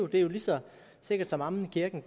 det er jo lige så sikkert som amen i kirken og